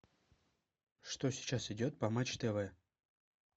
что сейчас идет по матч тв